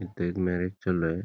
इथ एक मॅरेज चालू आहे.